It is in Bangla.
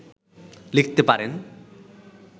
লিখতে পারেন